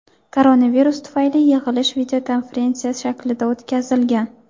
Koronavirus tufayli yig‘ilish videokonferensiya shaklida o‘tkazilgan.